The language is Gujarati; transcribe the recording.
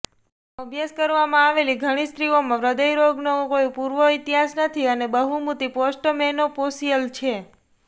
અભ્યાસ કરવામાં આવેલી ઘણી સ્ત્રીઓમાં હૃદયરોગનો કોઈ પૂર્વ ઇતિહાસ નથી અને બહુમતી પોસ્ટમેનોપૌશિયલ છે